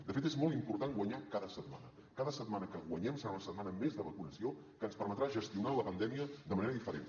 de fet és molt important guanyar cada setmana cada setmana que guanyem serà una setmana més de vacunació que ens permetrà gestionar la pandèmia de manera diferent